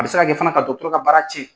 A bɛ se ka kɛ fana ka dɔgɔtɔrɔ ka baara cɛn.